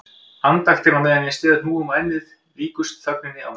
Andaktin á meðan ég styð hnúum á ennið líkust þögninni á meðan